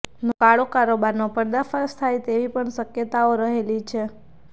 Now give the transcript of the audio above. નો કાળો કારોબારનો પર્દાફાશ થાય તેવી પણ શક્યતાઓ રહેલી છે